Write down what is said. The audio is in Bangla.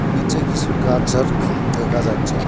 নীচে কিছু গাছঝাড় দেখা যাচ্ছে।